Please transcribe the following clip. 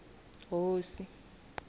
hosi